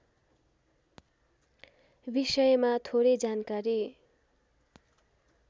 विषयमा थोरै जानकारी